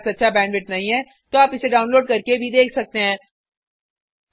यदि आपके पास अच्छा बैंडविड्थ नहीं है तो आप इसे डाउनलोड करके भी देख सकते हैं